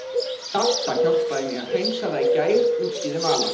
Dadda hjálpaði mér að hreinsa það í gær útskýrði Vala.